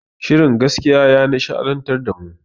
Shirin gaskiya ya nishaɗantar da mu